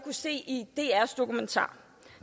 se i drs dokumentar